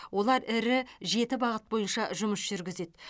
олар ірі жеті бағыт бойынша жұмыс жүргізеді